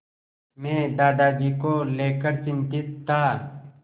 मैं दादाजी को लेकर चिंतित था